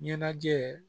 Ɲɛnajɛ